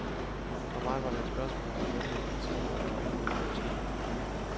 For mig var det et spørgsmål om at vælge et parti, hvor jeg var enig i politikken.